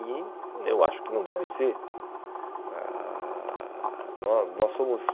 E eu acho que não deve ser. Ãh